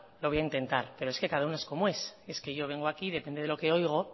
lo voy a intentar pero es que cada uno es como es es que yo vengo aquí y depende de lo que oigo